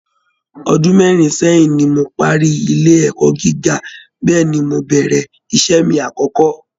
Ọdún mẹ́rin sẹ́yìn ni mo parí ilé ẹ̀kọ́ gíga, bẹ́ẹ̀ ni mo bẹ̀rẹ̀ iṣẹ́ mi àkọ́kọ́